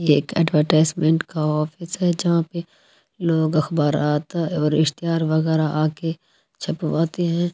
ये एक ऐडवरतिसेमेंत का ऑफिस है जहाँ पे लोग अखबार आता है इश्तीतिहार वगेरा आके छपवाते है ।